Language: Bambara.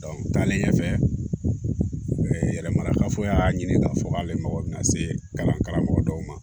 taalen ɲɛfɛ yɛlɛma ka fɔ n y'a ɲini k'a fɔ k'ale mago bɛ na se kalanmɔgɔ dɔw ma